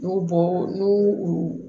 N'u bɔ n'u u